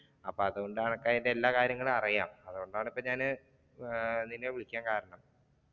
അപ്പൊ അതുകൊണ്ട് നിനക്ക് അതിന്റെ എല്ലാ കാര്യങ്ങളും അറിയാം അതുകൊണ്ടാണ് ഇപ്പൊ ഞാൻ നിന്നെ വിളിക്കാൻ കാരണം.